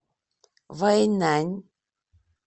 вэйнань